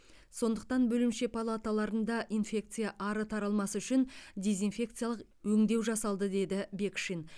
сондықтан бөлімше палаталарында инфекция ары таралмас үшін дезинфекциялық өңдеу жасалды деді бекшин